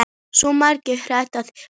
Svo margt hægt að gera.